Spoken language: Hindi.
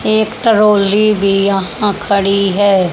एक ट्राली भी यहां खड़ी है।